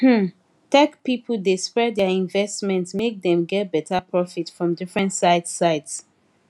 um tech people dey spread their investment make dem get better profit from different sides sides